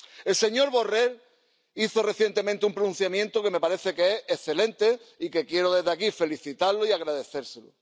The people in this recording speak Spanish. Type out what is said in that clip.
El señor Borrell hizo recientemente un pronunciamiento que me parece que es excelente, y quiero desde aquí felicitarle y agradecérselo.